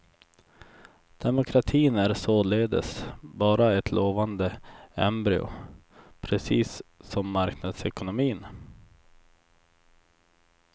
Demokratin är således bara ett lovande embryo, precis som marknadsekonomin.